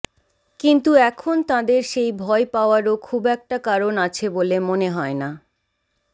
কিন্তু এখন তাঁদের সেই ভয় পাওয়ারও খুব একটা কারণ আছে বলে মনে হয় না